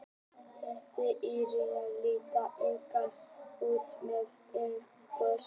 hitinn í jörðinni leitar einnig út með eldgosum